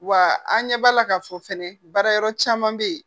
Wa an ɲɛ b'a la k'a fɔ fɛnɛ baarayɔrɔ caman be yen